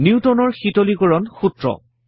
নিউটনৰ শীতলীকৰণ সূত্ৰ